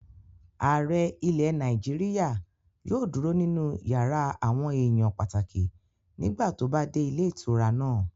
Ààrẹ ilẹ̀ Nàìjíríyà yóò dúró nínú yàrá àwọn èèyàn pàtàkì nígbà tó bá dé ilé ìtura náà